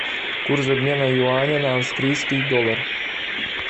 курс обмена юаня на австрийский доллар